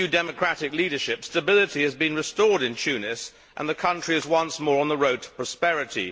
Under the new democratic leadership, stability has been restored in Tunis and the country is once more on the road to prosperity.